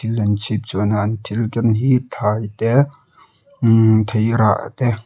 thil an chhipchhuana an thil ken hi thlai te thei rah te.